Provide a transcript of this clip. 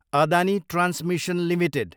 Adani transmission Ltd